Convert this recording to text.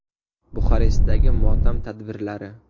Buxarestdagi motam tadbirlari.